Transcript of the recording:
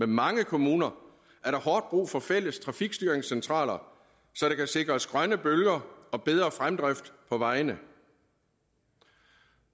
mange kommuner er der hårdt brug for fælles trafikstyringscentraler så der kan sikres grønne bølger og bedre fremdrift på vejene